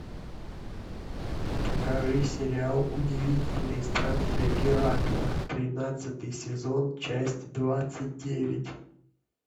покажи сериал удивительные странствия геракла тринадцатый сезон часть двадцать девять